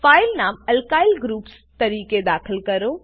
file નામ alkyl groups તરીકે દાખલ કરો